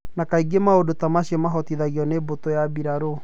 Na kaingĩ maũndũ ta macio mabotithagio nĩ mbũtũ ya bũrũri.